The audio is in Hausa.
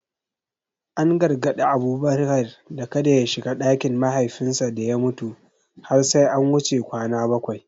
An gargadi Abubakar da kada ya shiga ɗakin mahaifinsa da ya mutu har sai an wuce kwana bakwai.